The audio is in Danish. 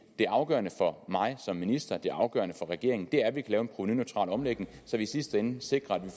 det afgørende for mig som minister og det afgørende for regeringen er at vi kan lave en provenuneutral omlægning så vi i sidste ende sikrer at vi